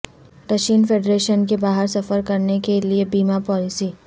Russian Federation کے باہر سفر کرنے کے لئے بیمہ پالیسی